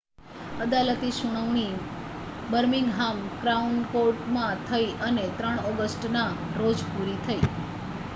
અદાલતી સુનાવણી Birmingham Crown કૉર્ટમાં થઈ અને 3 ઑગસ્ટના રોજ પૂરી થઈ